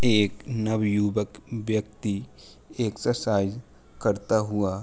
एक नवयुवक व्यक्ति एक्सरसाइज करता हुआ --